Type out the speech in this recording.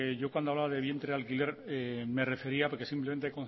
yo cuando hablaba de vientre de alquiler me refería porque simplemente he